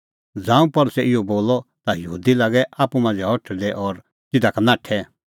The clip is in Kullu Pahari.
ज़ांऊं पल़सी इहअ बोलअ ता यहूदी लागै आप्पू मांझ़ै हठल़दै और तिधा का नाठै